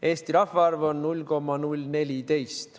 Eesti rahvaarv on 0,014% maailma rahvastikust.